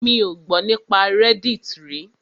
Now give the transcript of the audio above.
Mi ò gbọ́ nípa reddit rí.